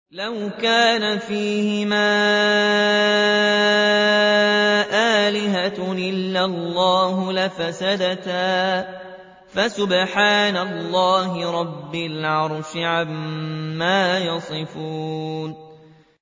لَوْ كَانَ فِيهِمَا آلِهَةٌ إِلَّا اللَّهُ لَفَسَدَتَا ۚ فَسُبْحَانَ اللَّهِ رَبِّ الْعَرْشِ عَمَّا يَصِفُونَ